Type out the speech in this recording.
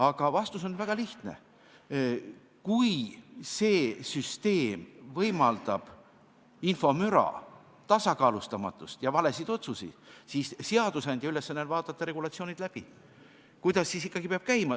Aga vastus on väga lihtne: kui süsteem võimaldab infomüra tasakaalustamatust ja valesid otsuseid, siis on seadusandja ülesanne vaadata regulatsioon läbi, et kuidas see ikkagi peab käima.